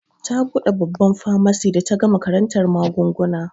Ta buɗe babban famasi da ta gama karantar magunguna.